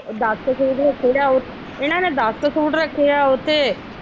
ਦਸ ਸੂਟ ਓਥੋਂ ਲਿਆਓ ਇਹਨਾ ਨੇ ਦਸ ਸੂਟ ਰੱਖੇ ਆ ਉਥੇ।